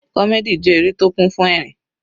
Comedy jẹ́ eré tó kún fún ẹ̀rín.